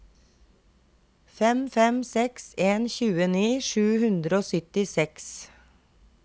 fem fem seks en tjueni sju hundre og syttiseks